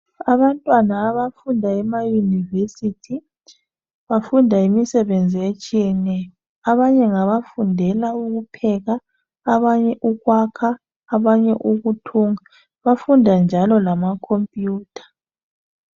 Abantwana abafunda emayunivesithi bafunda imisebenzi etshiyeneyo. Abanye ngabafundela ukupheka ,abanye ukwakha ,abanye ukuthunga bafunda njalo lama khompuyutha.